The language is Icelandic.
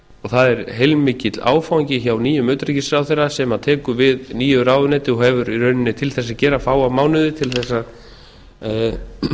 það er heilmikill áfangi hjá nýjum utanríkisráðherra sem tekur við nýju ráðuneyti og hefur í rauninni til þess að gera fáa mánuði til þess að